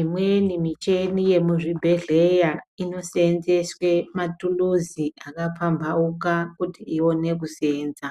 Imweni micheni yemuchibhedhleya, inoseenzeswe matuluzi akapambauka kuti ione kuseenza.